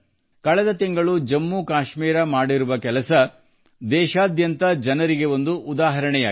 ಕಳೆದ ತಿಂಗಳು ಜಮ್ಮ ಕಾಶ್ಮೀರ ಸಾಧಿಸಿರುವುದು ದೇಶಾದ್ಯಂತ ಜನರಿಗೆ ಉದಾಹರಣೆಯಾಗಿದೆ